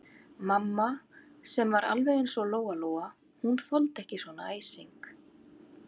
Mamma sem var alveg eins og Lóa-Lóa, hún þoldi ekki svona æsing.